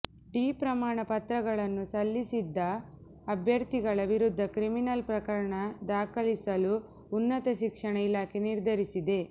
D ಪ್ರಮಾಣ ಪತ್ರಗಳನ್ನು ಸಲ್ಲಿಸಿದ್ದ ಅಭ್ಯರ್ಥಿಗಳ ವಿರುದ್ಧ ಕ್ರಿಮಿನಲ್ ಪ್ರಕರಣ ದಾಖಲಿಸಲು ಉನ್ನತ ಶಿಕ್ಷಣ ಇಲಾಖೆ ನಿರ್ಧರಿಸಿದೆ